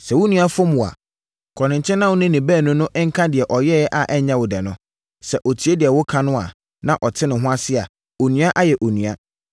“Sɛ wo nua fom wo a, kɔ ne nkyɛn na wo ne no baanu no nka deɛ ɔyɛɛ wo a ɛnyɛ wo dɛ no. Sɛ ɔtie deɛ woka no, na ɔte ne ho ase a, onua ayɛ onua.